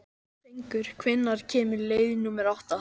Fengur, hvenær kemur leið númer átta?